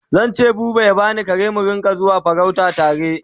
Zan ce buba ya bani kare mu Rinka zuwa farauta tare